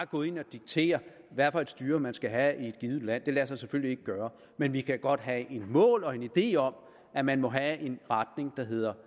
gå ind og diktere hvad for et styre man skal have i et givet land det lader sig selvfølgelig ikke gøre men vi kan godt have et mål og en idé om at man må have en retning der handler